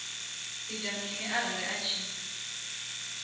ita mini arali a tshi